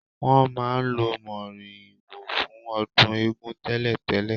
Wọn máa ń lo moriwo fún ọdún eégún tẹ́lẹ̀tẹ́lẹ̀